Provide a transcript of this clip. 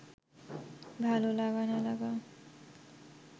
ভালো লাগা না লাগা